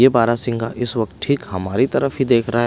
ये बारह सिंहा इस वक्त ठीक हमारी तरफ ही देख रहा है।